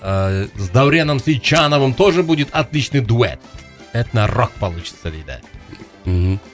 ыыы с дауреном сейтжановым тоже будет отличный дуэт этно рок получится дейді мхм